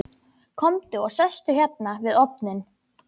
Komdu og sestu hérna við ofninn.